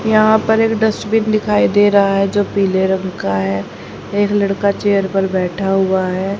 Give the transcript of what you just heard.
यहां पर एक डस्टबिन दिखाई दे रहा है जो पीले रंग का है एक लड़का चेयर पर बैठा हुआ है।